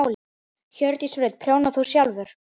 Hjördís Rut: Prjónar þú sjálfur?